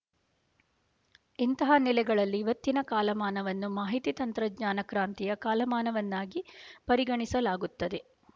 ಇಂತಹ ನೆಲೆಗಳಲ್ಲಿ ಇವತ್ತಿನ ಕಾಲಮಾನವನ್ನು ಮಾಹಿತಿ ತಂತ್ರಜ್ಞಾನ ಕ್ರಾಂತಿಯ ಕಾಲಮಾನವನ್ನಾಗಿ ಪರಿಗಣಿಸಲಾಗುತ್ತದೆ